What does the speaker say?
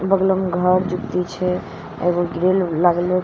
बगलो में घर जूति छे ए गो ग्रिल लागलो छे।